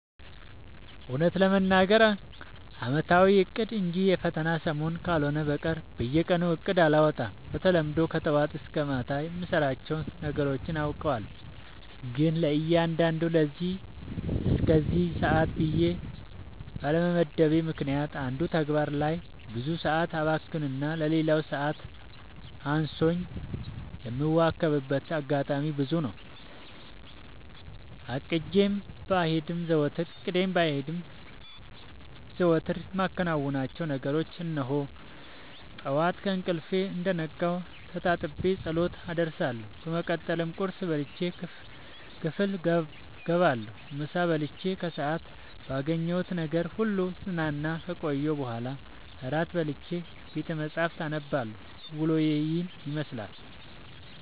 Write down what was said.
እውነት ለመናገር አመታዊ እቅድ እንጂ የፈተና ሰሞን ካልሆነ በቀር በየቀኑ እቅድ አላወጣም። በተለምዶ ከጠዋት እስከ ማታ የምሰራቸውን ነገሮች አውቃቸዋለሁ ግን ለእያንዳዱ ለዚህ እስከዚህ ሰአት ብዬ ባለመመደቤ ምክንያት አንዱ ተግባር ላይ ብዙ ሰአት አባክንና ለሌላው ሰዓት አንሶኝ የምዋከብበት አጋጣሚ ብዙ ነው። አቅጄም ባይሄን ዘወትር የማከናውናቸውን ነገሮች እንሆ፦ ጠዋት ከእንቅልፌ እንደነቃሁ ተጣጥቤ ፀሎት አደርሳለሁ በመቀጠልም ቁርስ በልቼ ክፍል ገባለሁ ምሳ በልቼ ከሰአት ባገኘሁት ነገር ሁሉ ስዝናና ከቆየሁ በኋላ እራት በልቼ ቤተመፃህፍት አነባለሁ ዉሎዬ ይህን ይመስላል።